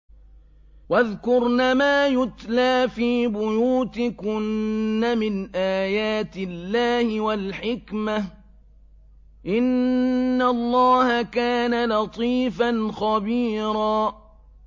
وَاذْكُرْنَ مَا يُتْلَىٰ فِي بُيُوتِكُنَّ مِنْ آيَاتِ اللَّهِ وَالْحِكْمَةِ ۚ إِنَّ اللَّهَ كَانَ لَطِيفًا خَبِيرًا